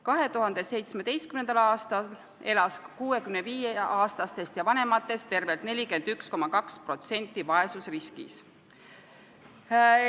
2017. aastal elas 65-aastastest ja vanematest tervelt 41,2% vaesusriskis.